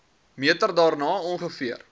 meter daarna ongeveer